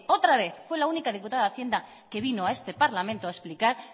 otra vez fue la única diputada de hacienda que vino a este parlamento a explicar